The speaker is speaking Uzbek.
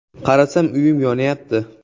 Qarasam, uyim yonyapti.